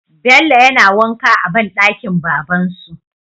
Bello yana wanka a banɗakin baban su